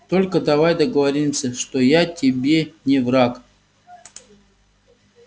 только давай договоримся что я тебе не враг